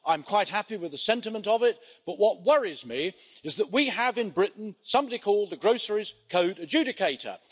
I'm quite happy with the sentiment of it, but what worries me is that we have in Britain somebody called the Groceries Code Adjudicator.